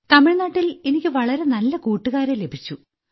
തമിഴ്നാട്ടിൽ എനിയ്ക്ക് വളരെ നല്ല കൂട്ടുകാരെ ലഭിച്ചു